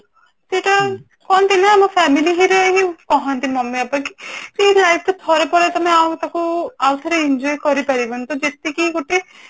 ସେଇଟା କହନ୍ତି ନା ଆମ family ରେ ହିଁ କହନ୍ତି mummy papa କି କି ଏଇ life ଟା ଥରେ ପଳେଇଲେ ତମେ ଆଉ ତାକୁ ଆଉ ଥରେ enjoy କରି ପାରିବନି ତ ଯେତିକି ଗୋଟେ